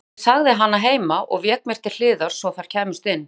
Jú, ég sagði hana heima og vék mér til hliðar svo þær kæmust inn.